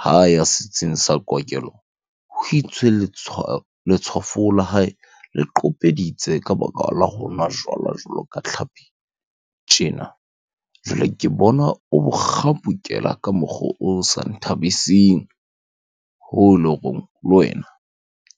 Ha ya setsing sa kokelo, ho itswe letshwafo la hae le qopeditse ka baka la ho nwa jwala jwalo ka tlhapi, tjena. Jwale ke bona o bokgapukela ka mokgo o sa nthabising hoo eleng hore le wena